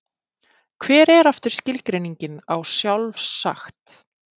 Hver er aftur skilgreiningin á sjálfsagt?